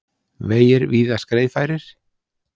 Vegir víðast greiðfærir